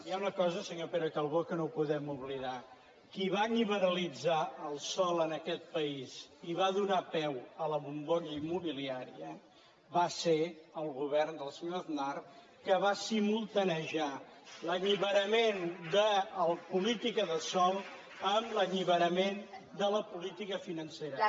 hi ha una cosa senyor calbó que no podem oblidar qui va liberalitzar el sòl en aquest país i va donar peu a la bombolla immobiliària va ser el govern del senyor aznar que va simultaniejar l’alliberament de la política de sòl lítica financera